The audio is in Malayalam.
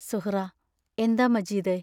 സുഹ്റാ എന്താ മജീദേ?